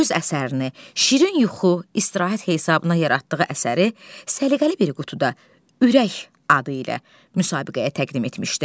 Öz əsərini şirin yuxu, istirahət hesabına yaratdığı əsəri səliqəli bir qutuda ürək adı ilə müsabiqəyə təqdim etmişdi.